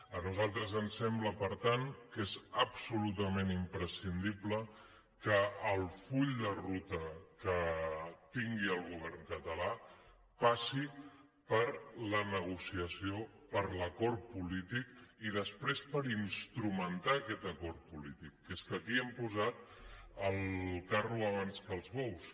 a nosaltres ens sembla per tant que és absolutament imprescindible que el full de ruta que tingui el govern català passi per la negociació per l’acord polític i després per instrumentar aquest acord polític que és que aquí hem posat el carro abans que els bous